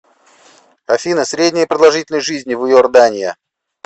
афина средняя продолжительность жизни в иордания